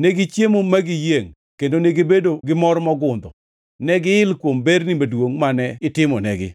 Negichiemo ma giyiengʼ kendo negibedo gi mor mogundho; negiil kuom berni maduongʼ mane itimonegi.